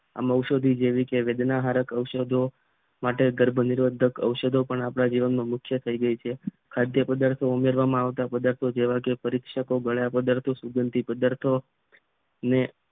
ઔષધિ જેવીકે વેદના હરક ઔષધો માટે ગર્ભ નિરોધક ઔષધો પણ આપણા જીવનમાં મુખ્ય થઈ ગઈ છે ખાદ્ય પદાર્થો ઉમેરવામાં આવતા પદાર્થો જેવા કે પરીક્ષકો ગળિયાં પદાર્થો સુગંધિત પદાર્થોને